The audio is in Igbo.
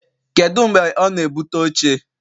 Kedu mgbe ọ na-ebute oche?